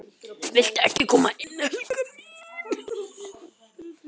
VILTU EKKI KOMA INN, HELGA MÍN!